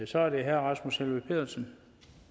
så er det herre rasmus helveg petersen